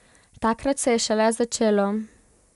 Takrat se je šele začelo.